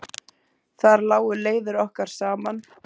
Þar lágu leiðir okkar saman.